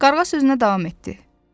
Qarğa sözünə davam etdi.